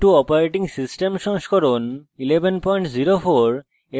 ubuntu operating system সংস্করণ 1104